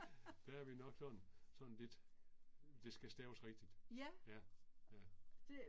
Der er vi nok sådan, sådan lidt, det skal staves rigtigt. Ja, ja